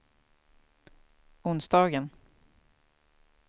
onsdagen